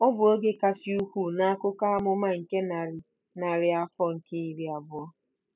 Ọ bụ oge kasị ukwuu n'akụkọ amụma nke narị narị afọ nke iri abụọ.